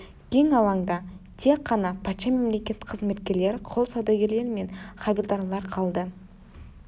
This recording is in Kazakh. кең алаңда тек қана патша мемлекет қызметкерлері құл саудагерлері мен хавильдарлар қалды